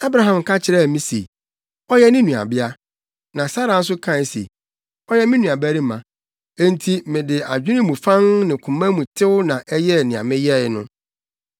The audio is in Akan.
Abraham ka kyerɛɛ me se, ‘Ɔyɛ me nuabea.’ Na Sara no nso kae se, ‘Ɔyɛ me nuabarima.’ Enti mede adwene mu fann ne koma mu tew na ɛyɛɛ nea meyɛe no.”